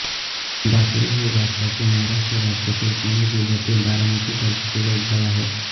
ढाकळे हे भारताच्या महाराष्ट्र राज्यातील पुणे जिल्ह्यातील बारामती तालुक्यातील एक गाव आहे